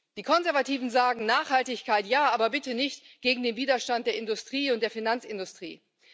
Die Konservativen sagen Nachhaltigkeit ja, aber bitte nicht gegen den Widerstand der Industrie und der Finanzindustrie.